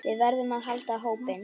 Við verðum að halda hópinn!